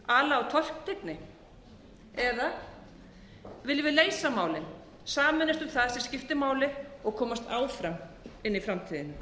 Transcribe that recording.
ala á tortryggni eða viljum við leysa málin sameinast um það sem skiptir máli og komast áfram inn í framtíðina